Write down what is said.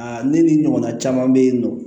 Aa ne ni ɲɔgɔnna caman be yen nɔ